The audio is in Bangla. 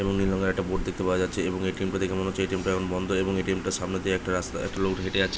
এবং নীল রং এর একটি বোর্ড দেখতে পাওয়া যাচ্ছে এবং এ.টি.এম. -টা দেখে মনে হচ্ছে এ.টি.এম. -টা এখন বন্ধ এবং এ.টি.এম. -টার সামনে দিয়ে একটা রাস্তা একটা লোক হেটে যাচ্ছে।